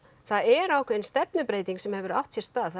það er ákveðin stefnubreyting sem hefur átt sér stað það